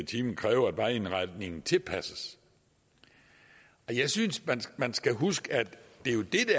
time kræve at vejindretningen tilpasses jeg synes at man skal huske at det jo er det